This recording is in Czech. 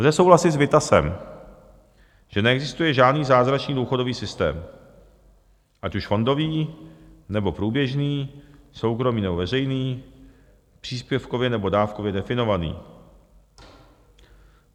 Lze souhlasit s Vittasem, že neexistuje žádný zázračný důchodový systém, ať už fondový, nebo průběžný, soukromý, nebo veřejný, příspěvkově nebo dávkově definovaný.